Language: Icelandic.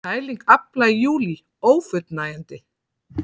Kæling afla í júlí ófullnægjandi